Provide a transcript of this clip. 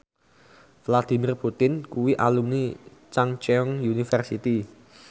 Vladimir Putin kuwi alumni Chungceong University